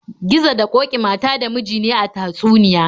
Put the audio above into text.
Gizo da ƙoki mata da miji ne a tatsuniya.